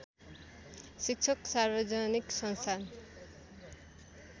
शिक्षक सार्वजनिक संस्थान